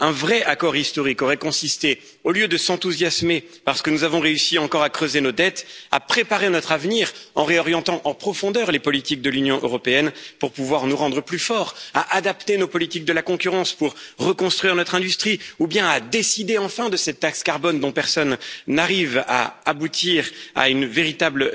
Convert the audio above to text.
Un vrai accord historique aurait consisté, au lieu de s'enthousiasmer parce que nous avons réussi encore à creuser nos dettes, à préparer notre avenir en réorientant en profondeur les politiques de l'Union européenne pour pouvoir nous rendre plus forts, à adapter nos politiques de la concurrence pour reconstruire notre industrie ou bien à décider enfin de cette taxe carbone dont personne n'arrive à aboutir à une véritable